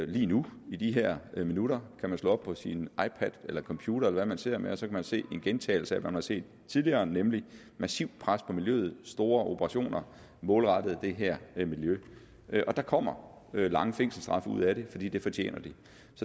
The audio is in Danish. lige nu i de her minutter kan man slå op på sin ipad eller computer eller hvad man sidder med og så kan man se en gentagelse af det man har set tidligere nemlig et massivt pres på miljøet store operationer målrettet det her miljø og der kommer lange fængselsstraffe ud af det fordi det fortjener de